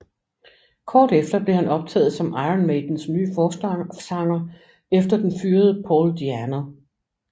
Kort efter blev han optaget som Iron Maidens nye forsanger efter den fyrede Paul DiAnno